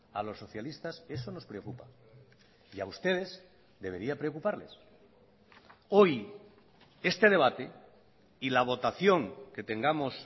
a los socialistas eso nos preocupa y a ustedes debería preocuparles hoy este debate y la votación que tengamos